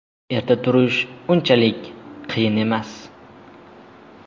Erta turish unchalik qiyin emas.